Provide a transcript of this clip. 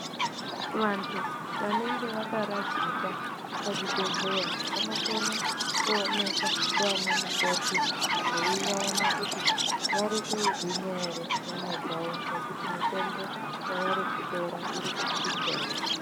Vantu vanenge vakaradzikwa pazvibhedhleya vanokone kuonekwa ndiana mukoti veivaona kuti varikugwinya ere nyama dzavo nekuti mitombo yavarikutora irikuchinja ere.